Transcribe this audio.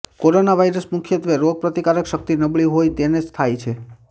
corona virus મુખ્યત્વે રોગપ્રતિકારક શક્તિ નબળી હોય તેને જ થાય છે